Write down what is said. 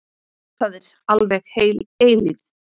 Það er alveg heil eilífð.